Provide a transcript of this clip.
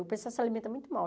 O pessoal se alimenta muito mal.